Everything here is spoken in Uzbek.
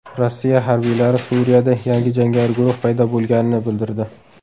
Rossiya harbiylari Suriyada yangi jangari guruh paydo bo‘lganini bildirdi.